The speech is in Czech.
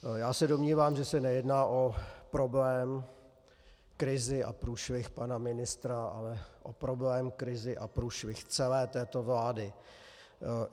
Já se domnívám, že se nejedná o problém, krizi a průšvih pana ministra, ale o problém, krizi a průšvih celé této vlády.